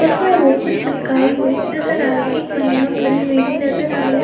उसमे वो कुछ चिपकाई हुई नजर आ रही है एक महिला खड़ी हुई भी नजर आ रही है।